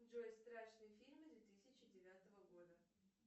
джой страшные фильмы две тысячи девятого года